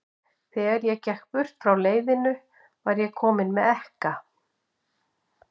Þegar ég gekk burt frá leiðinu, var ég kominn með ekka.